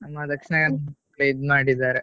ನಮ್ಮ ದಕ್ಷಿಣ ಕನ್ನಡ ಇದ್ ಮಾಡಿದ್ದಾರೆ.